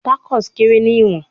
Tacos kere ni iwọn